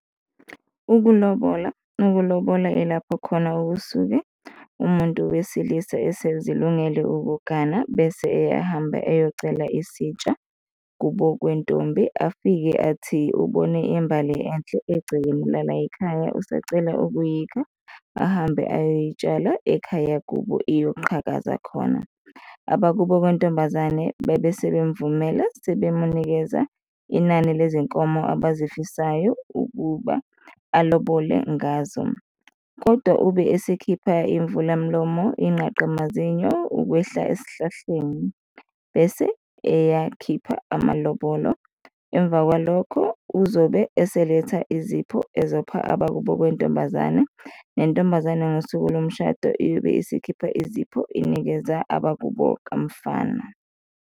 Ukulobola. Ukulobola ilapho khona kusuke umuntu wesilisa esezilungele ukugana bese eyahamba eyocela isitsha kubo kwentombi, afike athi ubone imbali enhle egcekeni la la ekhaya, usecela ukuyikha ahambe ayoyitshala ekhaya kubo iyoxhakaza khona. Abakubo kwantombazane bebe sebemvumela, sebemunikeza inani lezinkomo abazifisayo ukuba alobolile ngazo kodwa ube esekhipha imvulamlomo, inqaqa mazinyo, ukwehla esihlahleni bese eyakhipha amalobolo. Emva kwalokho uzobe eseletha izipho ezopha abakubo kwentombazane nentombazane ngosuku lomshado iyobe isikhipha izipho, inikeza abakubo kamfana.